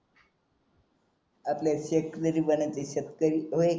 आपल्याला शेतकरी बनायचे शेतकरी होय